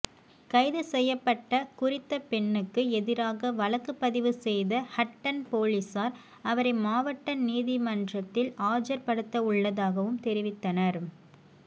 கைது செய்யப்பட்ட குறித்த பெண்ணுக்கு எதிராக வழக்கு பதிவு செய்த ஹட்டன் பொலிஸார் அவரை மாவட்ட நீதின்றில் ஆஜர்படுத்தவுள்ளதாகவும் தெரிவித்தனர்